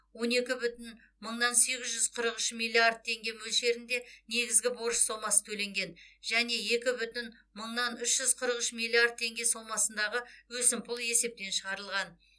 он екі бүтін мыңнан сегіз жүз қырық үш миллиард теңге мөлшерінде негізгі борыш сомасы төленген және екі бүтін мыңнан үш жүз қырық үш миллиард теңге сомасындағы өсімпұл есептен шығарылған